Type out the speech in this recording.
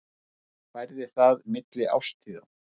Ég færði það milli árstíða.